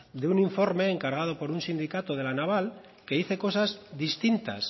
de un informe encargado por un sindicato de la naval que dice cosas distintas